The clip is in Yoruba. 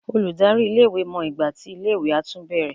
Olùdarí iléèwé mọ ìgbà tí iléèwé á tún bẹ̀rẹ̀